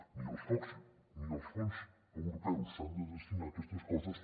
ni els fons europeus s’han de destinar a aquestes coses